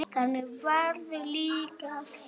Þannig verður líka að fara.